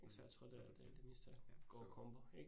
Mh mh, ja, så